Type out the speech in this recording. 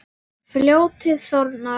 Fljótið þornar.